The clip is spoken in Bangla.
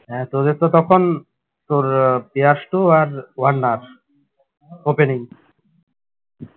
হ্যাঁ তোদের তো তখন তোর পিয়াসতো আর ওয়ার্নার openning